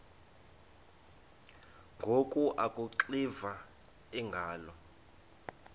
ngoku akuxiva iingalo